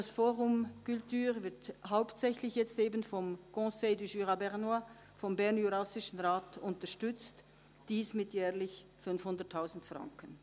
Das «fOrum culture» wird jetzt hauptsächlich eben vom BJR unterstützt, mit jährlich 500 000 Franken.